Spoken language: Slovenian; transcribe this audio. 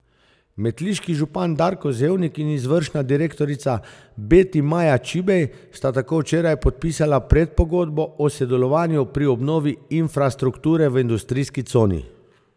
Metliški župan Darko Zevnik in izvršna direktorica Beti Maja Čibej sta tako včeraj podpisala predpogodbo o sodelovanju pri obnovi infrastrukture v industrijski coni.